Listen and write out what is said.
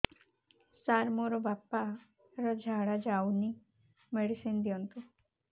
ସାର ମୋର ବାପା ର ଝାଡା ଯାଉନି ମେଡିସିନ ଦିଅନ୍ତୁ